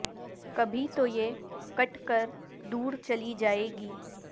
کبھی تو یہ کٹ کر دور چلی جائے گی